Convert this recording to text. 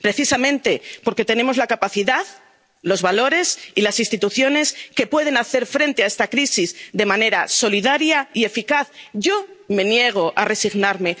Precisamente porque tenemos la capacidad, los valores y las instituciones que pueden hacer frente a esta crisis de manera solidaria y eficaz, yo me niego a resignarme.